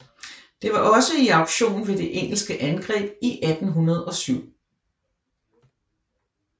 Det var også i aktion ved det engelske angreb i 1807